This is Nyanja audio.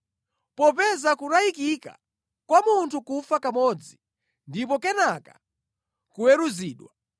Popeza kunayikika kwa munthu kufa kamodzi ndipo kenaka kuweruzidwa,